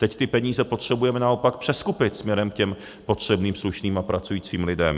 Teď ty peníze potřebujeme naopak přeskupit směrem k potřebným, slušným a pracujícím lidem.